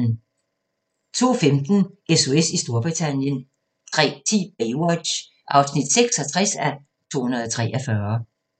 02:15: SOS i Storbritannien 03:10: Baywatch (66:243)